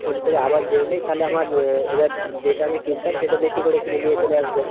phone করে আবার জেনে নেই তালে আমার এবার যেইটা আমি কিনতাম সেইটা বেশি করে কিনে নিয়ে চলে আসবো।